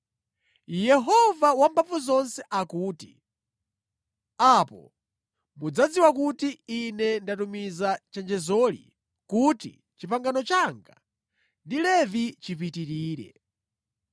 Yehova Wamphamvuzonse akuti, “Apo mudzadziwa kuti Ine ndatumiza chenjezoli kuti pangano langa ndi Levi lipitirire.